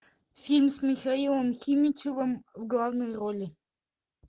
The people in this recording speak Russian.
фильм с михаилом химичевым в главной роли